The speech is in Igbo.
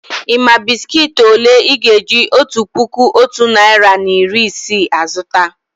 Ị́ mà bị́sikití òlé Ị́ ga-eji otu puku otu narị na iri isii azụta?